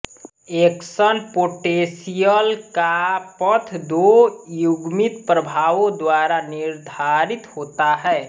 action potential का पथ दो युग्मित प्रभावों द्वारा निर्धारित होता है